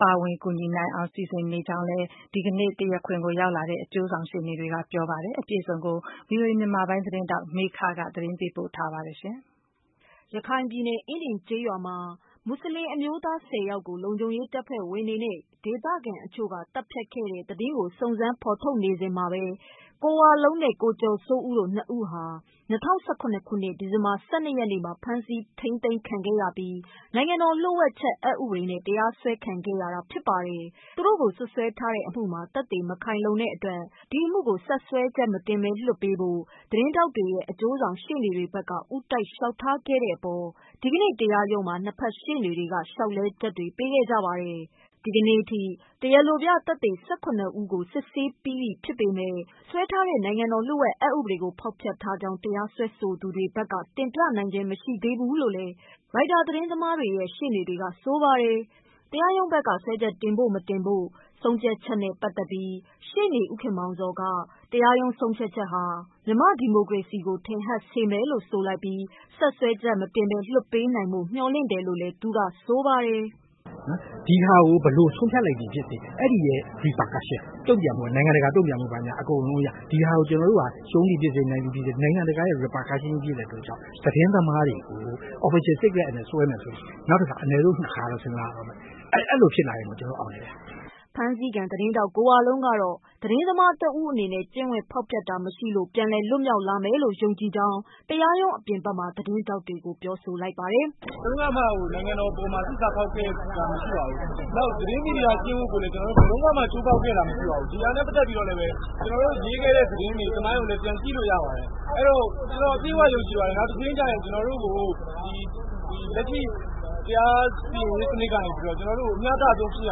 ပါဝင်ကူညီနိုင်အောင် စီစဉ်နေကြောင်းလည်း ဒီကနေ့ တရားခွင်ကို ရောက်လာကြတဲ့ အကျိုးဆောင် ရှေ့နေတွေကပြောပါတယ်။ အပြည့်အစုံကိုတော့ ဗွီအိုအေမြန်မာပိုင်းသတင်းထောက် မေခက သတင်းပေးပို့ ထားပါတယ်။ ရခိုင်ပြည်နယ်၊ အင်းဒင်ကျေးရွာမှာ မွတ်ဆလင်အမျိုးသား ၁၀ ယောက်ကို လုံခြုံရေး တပ်ဖွဲ့ဝင်တွေနဲ့ ဒေသခံတချို့က သတ်ဖြတ်ခဲ့တဲ့ သတင်းကို စုံစမ်း ဖော်ထုတ်နေစဉ် ကိုဝလုံးနဲ့ ကိုကျော်စိုးဦးတို့ ၂ ဦးဟာ ၂၀၁၇ ခုနှစ် ဒီဇင်ဘာ ၁၂ ရက်နေ့မှာ ဖမ်းဆီးခံရပြီး နိုင်ငံတော် လှို့ဝှက်ချက်ဥပဒေနဲ့ တရားစွဲခံထားရတာ ဖြစ်ပါတယ်။ သူတို့ကို စွပ်စွဲထားတဲ့ အမှုအတွက် သက်သေမခိုင်လုံတဲ့အတွက် ဒီအမှုကို ဆက်စွဲချက်မတင်ဘဲ လွှတ်ပေးဖို့ သတင်းထောက်တွေရဲ့ အကျိုးဆောင်ရှေ့နေတွေဘက်က ဦးတိုက် လျှောက်ထားခဲ့တဲ့အပေါ် ဒီကနေ့ တရားရုံးမှာ ၂ဖက်ရှေ့နေတွေက လျှောက်လဲချက်တွေ ပေးခဲ့ကြပါတယ်။ ဒီနေ့အထိ တရားလိုပြသက်သေ ၁၇ ဦးကို စစ်ဆေးပြီးဖြစ်ပေမယ့် စွဲထားတဲ့ နိုင်ငံတော် လ ျှို့ဝှက်အက်ဥပဒေကို ဖောက်ဖျက်ထားကြောင်း တရားစွဲသူတွေဘက်က တင်ပြနိုင်ခြင်းလည်း မရှိသေးဘူးလို့ ရိုက်တာ သတင်းသမားတွေ ရှေ့နေတွေက ဆိုပါတယ်။ တရားရုံးဘက်က စွဲချက်တင်ဖို့ မတင်ဖို့ပတ်သတ်လို့ ရှေ့နေ ဦးခင်မောင်ဇော်က တရားရုံးဆုံးဖြတ်ချက်က မြန်မာ့ဒီမိုကရေစီကို ထင်ဟပ်စေမယ်လို့ ဆိုလိုက်ပြီး ဆက်စွဲချက်မတင်ဘဲ လွှတ်ပေးနိုင်ဖို့ မျှော်လင့်တယ်လို့ဆိုလိုက်ပါတယ်။ "ဒီဟာကို ဘယ်လိုဆုံးဖြတ်လိုက်သည်ဖြစ်စေ အဲဒီရဲ့ repercussion တုံ့ပြန်မှု ၊ နိုင်ငံတကာတုံ့ပြန်မှု အကုန်လုံးက ဒီဟာကို ကျနော်တို့က ရှုံးသည်ဖြစ်စေ နိုင်သည်ဖြစ်စေနိုင်ငံတကာ repercussion ဖြစ်တဲ့အတွက်ကြောင့် သတင်းသမားတွေကို Official secrets acts နဲ့စွဲမယ်ဆိုရင် အနည်းဆုံး ၂ ခါတော့ စဉ်းစားရမယ် အဲဒီလိုဖြစ်လာရင်ကို ကျနော်တို့ အောင်မြင်တယ်ဗျာ။" ဖမ်းဆီးခံ သတင်းထောက်ကိုဝလုံးကတော့ သတင်းသမားတဦးအနေနဲ့ ကျင့်ဝတ်ဖောက်ဖျက်တာ မရှိလို့ ပြန်လည်လွတ်မြောက်နိုင်မယ်လို့ ယုံကြည်ကြောင်း တရားရုံးအပြင်ဘက်မှာ သတင်းထောက်တွေကို ပြောပါတယ်။ "ဘယ်တုန်းကမှ နိုင်ငံတော်ကို သစ္စာဖောက်ခဲ့တာမရှိခဲ့ပါဘူး။ နောက်ပြီးတော့ သတင်းမီဒီယာ ကျင့်ဝတ်ကိုလည်း ဘယ်တုန်းကမှ ချိုးဖောက်ခဲ့တာ မရှိခဲ့ပါဘူး။ ဒီဟာနဲ့ ပတ်သက်လို့ ကျနေ်ာတို့ရေးခဲ့တဲ့သတင်းတွေကိုလည်း ပြန်ကြည့်လို့ရပါတယ်။ အဲဒီတော့ ကျနော်အပြည့်အဝယုံကြည်ပါတယ် နောက်ရုံးချိန်းကျရင် ကျနော်တို့ကို ဒီလက်ရှိ တရားစီရင်ရေးစနစ်ကနေပြီးတော့ ကျနော်တို့ကို မျှတဆုံးဖြစ်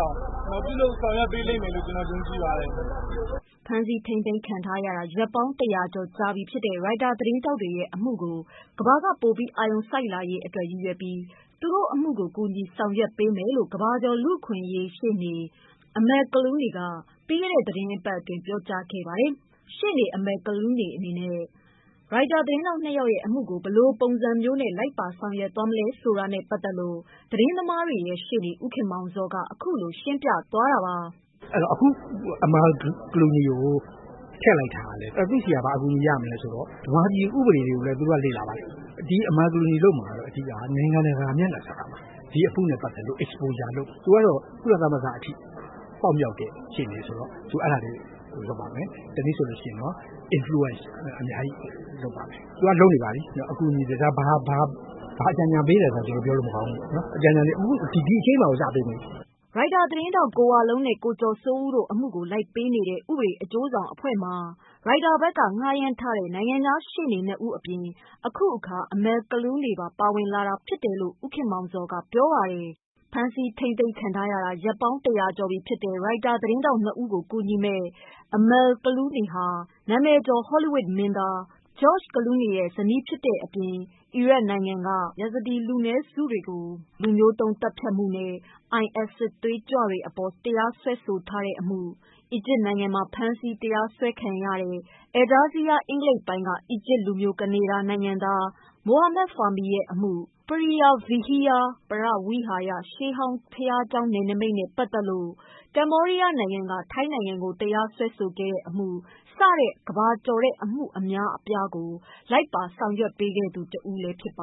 အောင် ပြုလုပ်ဆောင်ရွက်ပေးလိမ့်မယ်လို့ ကျနော်ယုံကြည်ပါတယ်။" ဖမ်းဆီးထိန်းသိမ်းခံထားရတာ ရက်ပေါင်း ၁၀၀ကျော် ကြာပြီဖြစ်တဲ့ ရိုက်တာ သတင်းထောက်တွေရဲ့ အမှုကို ကမ္ဘာက ပိုပြီး အာရုံစိုက်လာရေးအတွက် ရည်ရွယ်ပြီး သူတို့အမှုကို ကူညီ ဆောင်ရွက်ပေးမယ်လို့ ကမ္ဘာကျော် လူ့အခွင့်အရေး ရှေ့နေ Amal Clooney က ပြီးခဲ့တဲ့ သီတင်းပတ်အတွင်း ပြောကြားခဲ့ပါတယ်။ ရှေ့နေ Amal Clooney အနေနဲ့ ရိုက်တာသတင်းထောက် ၂ ယောက်ရဲ့ အမှုကို ဘယ်လိုပုံစံမျိုးနဲ့ လိုက်ပါ ဆောင်ရွက်ပေးမလဲ ဆိုတာနဲ့ ပတ်သက်လို့ သတင်းသမားတွေရဲ့ ရှေ့နေ ဦးခင်မောင်ဇော်က အခုလို ရှင်းပြပါတယ်။ "အခု Amal Clooney ကို ထည့်လိုက်တာ သူ့ဆီက ဘာအကူအညီရမလဲဆိုတော့ မြန်မာပြည်ဥပဒေတွေကိုလည်း သူတို့လေ့လာပါတယ်။ Amal Clooney လုပ်မှာက အဓိကတော့ နိုင်ငံတကာ မျက်နှာစာမှာ ဒီအမှုနဲ့ ပတ်သက်လို့ exposure လုပ်မယ်။ သူကတော့ ကုလသမဂ္ဂအထိ ပေါက်ရောက်တဲ့ ရှေ့နေဆိုတော့ သူအဲဒါလေး လုပ်ပါမယ်။ နောက်တနည်းပြောရရင်တော့ influence အများကြီး ပါမယ်။ သူကလည်း လုပ်နေပါပြီ။ ဘာအကြံအဉာဏ်ပေးတယ်ဆိုတာတော့ ကျနော်တို့ ပြောလို့မကောင်းဘူး။ အကြံအ ဉာဏ်တွေက ဒီရုံးချိန်းမှာတင် ပေးနေပါပြီ။" ရိုက်တာသတင်းထောက် ကိုဝလုံးနဲ့ ကိုကျော်စိုးဦးတို့ အမှုကို လိုက်ပေးနေတဲ့ ဥပဒေ အကျိုးဆောင်အဖွဲ့မှာ ရိုက်တာဘက်က ဌားရမ်းထားတဲ့ နိုင်ငံခြား ရှေ့နေ့ ၂ဦး အပြင် အခုတခါ Amal Clooney ပါ ပါဝင်လာ တာဖြစ်တယ်လို့ ဦးခင်မောင်ဇော်က ပြောပါတယ်။ ဖမ်းဆီးထိန်းသိမ်းခံထားရတာ ရက်ပေါင်း ၁၀၀ကျော်ကြာပြီဖြစ်တဲ့ ရိုက်တာသတင်းထောက် ၂ဦးကို ကူညီမယ့် Amal Clooney ဟာ နာမည်ကျော် Hollywood မင်းသား George Clooney ရဲ့ ဇနီးဖြစ်တဲ့အပြင် အီရတ်နိုင်ငံက Yazidi လူနည်းစုတွေကို လူမျိုးတုံးသတ်ဖြတ်မှုနဲ့ IS စစ်သွေးကြွတွေအပေါ် တရားစွဲထားတဲ့အမှု၊ အီဂျစ်နိုင်ငံမှာ ဖမ်းဆီး တရားစွဲခံခဲ့ရတဲ့ Al Jazeera အင်္ဂလိပ်ပိုင်းက အီဂျစ်လူမျိုး ကနေဒါနိုင်ငံသား Mohamed Fahmy ရဲ့ အမှု၊ Preah Vihear ပရဝိဟာရ ရှေးဟောင်းဘုရားကျောင်း နယ်နိမိတ်နဲ့ပါတ်သက်လို့ ကမ္ဘောဒီယားနိုင်ငံက ထိုင်းနိုင်ငံကို တရားစွဲဆိုတဲ့အမှု စတဲ့ ကမ္ဘာကျော်တဲ့ အမှုအများအပြားကို လိုက်ပေးခဲ့သူလည်း ဖြစ်ပါ